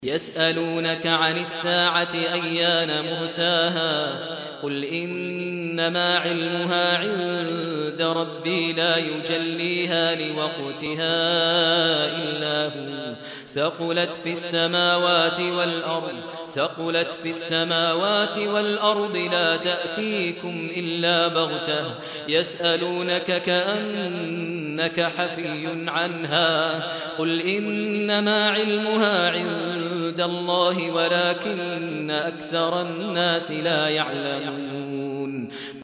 يَسْأَلُونَكَ عَنِ السَّاعَةِ أَيَّانَ مُرْسَاهَا ۖ قُلْ إِنَّمَا عِلْمُهَا عِندَ رَبِّي ۖ لَا يُجَلِّيهَا لِوَقْتِهَا إِلَّا هُوَ ۚ ثَقُلَتْ فِي السَّمَاوَاتِ وَالْأَرْضِ ۚ لَا تَأْتِيكُمْ إِلَّا بَغْتَةً ۗ يَسْأَلُونَكَ كَأَنَّكَ حَفِيٌّ عَنْهَا ۖ قُلْ إِنَّمَا عِلْمُهَا عِندَ اللَّهِ وَلَٰكِنَّ أَكْثَرَ النَّاسِ لَا يَعْلَمُونَ